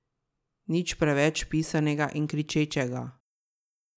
Nič preveč pisanega in kričečega.